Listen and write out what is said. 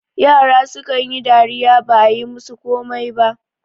yara sukan yi dariya ba a yi musu komai ba